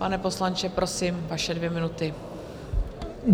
Pane poslanče, prosím, vaše dvě minuty.